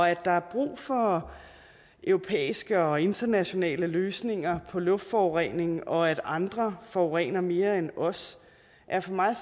at der er brug for europæiske og internationale løsninger på luftforureningen og at andre forurener mere end os er for mig